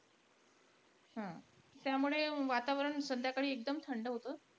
हा. त्यामुळे वातावरण संध्याकाळी एकदम थंड होतं.